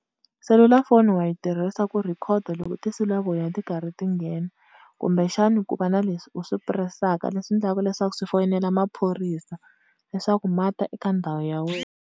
Selulafoni wa yi tirhisa ku recorder loko tinsulavoya ti karhi ti nghena, kumbexani ku va na leswi u swi press-aka leswi endlaku leswaku swi foyinela maphorisa leswaku mata eka ndhawu ya wena.